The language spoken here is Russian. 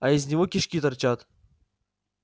а из него кишки торчат